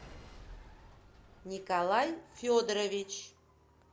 николай федорович